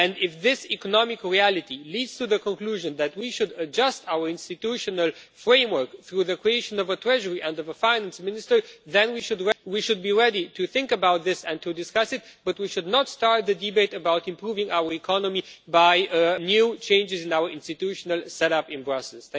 If this economic reality leads to the conclusion that we should adjust our institutional framework through the creation of a treasury and a finance minister, then we should be ready to think about this and to discuss it, but we should not start the debate about improving our economy by new changes in our institutional set-up in Brussels.